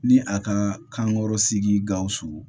Ni a ka kankɔrɔ sigi gawusu